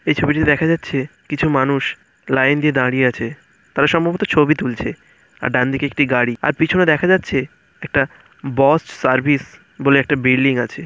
এই ছবিটি দেখা যাচ্ছেকিছু মানুষ লাইন দিয়ে দাঁড়িয়ে আছে তারা সম্ভবত ছবি তুলছে আর ডানদিকে একটি গাড়ি আর পিছনে দেখা যাচ্ছে একটাবস সার্ভিস বলে একটা বিল্ডিং আছে।